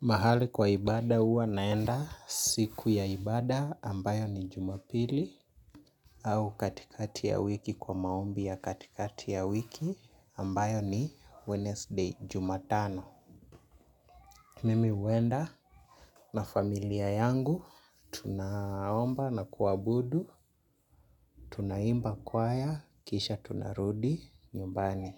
Mahali kwa ibada huwa naenda siku ya ibada ambayo ni Jumapili. Au katikati ya wiki kwa maombi ya katikati ya wiki ambayo ni Wednesday. Jumatano. Mimi huenda na familia yangu tunaomba na kuabudu, tunaimba kwaya, kisha tunarudi nyumbani.